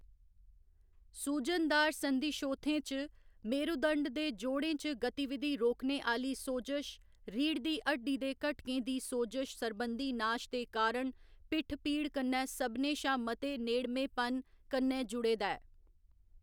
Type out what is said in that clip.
सूजनदार संधिशोथें च, मेरुदंड दे जोड़ें च गतिविधि रोकने आह्‌ली सोजश, रीढ़ दी हड्डी दे घटकें दी सोजश सरबंधी नाश दे कारण पिट्ठ पीड़ कन्नै सभनें शा मते नेड़मेपन कन्नै जुड़े दा ऐ।